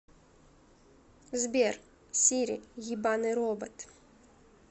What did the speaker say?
сбер сири ебаный робот